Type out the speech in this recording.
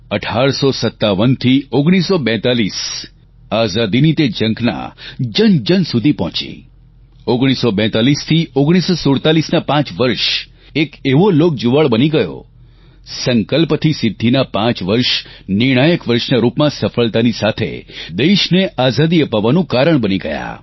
1857 થી 1942 આઝાદીની તે ઝંખના જન જન સુધી પહોંચી 1942 થી 1947ના પાંચ વર્ષ એક એવો લોકજુવાળ બની ગયો સંકલ્પથી સિદ્ધિના પાંચ નિર્ણાયક વર્ષના રૂપમાં સફળતાની સાથે દેશને આઝાદી અપાવવાનું કારણ બની ગયાં